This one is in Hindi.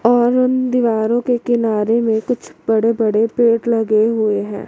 और उन दीवारो के किनारे में कुछ बड़े बड़े पेड लगे हुए हैं।